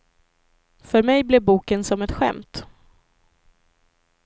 För mig blev boken som ett skämt.